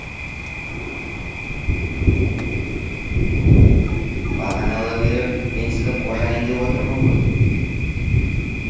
бағаналы бері мен сізді қожайын деп отырмын ғой